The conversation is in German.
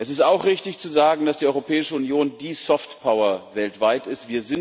Es ist auch richtig zu sagen, dass die Europäische Union die Soft Power weltweit ist.